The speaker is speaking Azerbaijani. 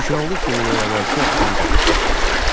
Şükranlıq gününün əvvəlki axşamı gəlib çatdı.